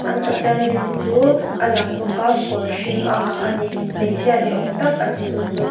an pathian lim chu a lang bawk a kawr hring a ha a ni hmeichhia ni awm tak a ni chu chu.